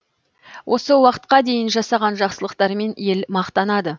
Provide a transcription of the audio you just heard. осы уақытқа дейін жасаған жақсылықтарымен ел мақтанады